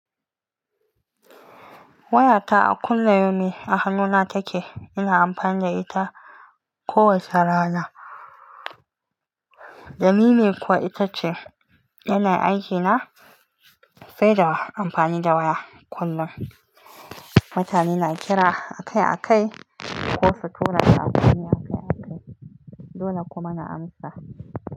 Wayata a kulli yaumin a hannuna take. Ina amfani da ita kowace rana. Lamine kuwa itace yana aikina, sai da amfani da waya kullum. Mutane na kira akai-akai ko su tura sakonnia akai-akai, dole kuma na amsa.